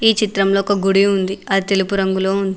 ఈ చిత్రంలో ఒక గుడి ఉంది అది తెలుపు రంగులో ఉంది.